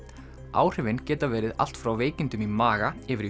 áhrifin geta verið allt frá veikindum í maga yfir í